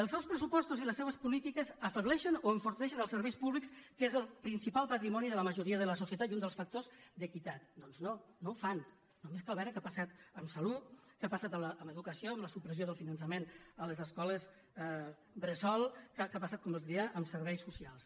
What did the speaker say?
els seus pressupostos i les seves polítiques afebleixen o enforteixen els serveis públics que és el principal patri·moni de la majoria de la societat i un dels factors d’equi·tat doncs no no ho fan només cal veure què ha passat amb salut què ha passat amb educació amb la supressió del finançament a les escoles bressol què ha passat com els deia amb serveis socials